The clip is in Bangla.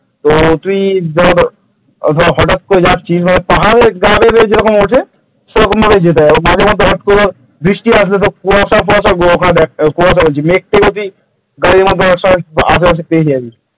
তো তুই ধর হঠাৎ করে যাচ্ছিস ধর পাহাড়ে গা বেয়ে বেয়ে যেরকম ওঠে সেরকম ভাবে যেতে হয় মাঝে মধ্যে হত করে বৃষ্টি আসে কুয়াসা ফুয়াসা কুয়াসা বলছি যদি গাড়ির আশেপাশে পেয়ে যাবি ।